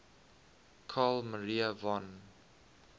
carl maria von